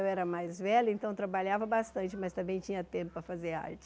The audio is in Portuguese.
Eu era mais velha, então trabalhava bastante, mas também tinha tempo para fazer arte.